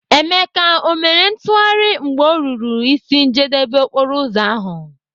Emeka, o mere ntụgharị mgbe ọ ruru ịsị njedebe okporoụzọ ahụ?